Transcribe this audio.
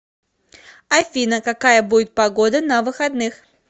афина какая будет погода на выходных